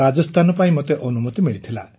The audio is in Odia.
ରାଜସ୍ଥାନ ପାଇଁ ମୋତେ ଅନୁମତି ମିଳିଥିଲା